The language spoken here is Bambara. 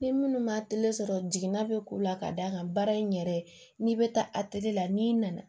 Ni minnu ma sɔrɔ jiginna bɛ k'u la ka d'a kan baara in yɛrɛ n'i bɛ taa a tigi la n'i nana